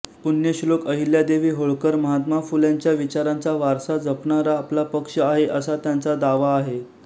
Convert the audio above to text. पुण्यश्लोक अहिल्यादेवी होळकर महात्मा फुल्यांच्या विचारांचा वारसा जपणारा आपला पक्ष आहे असा त्यांचा दावा आहे